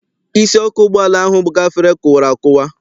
Isi ọkụ ụgbọala ahụ gafere kụwara akụwa.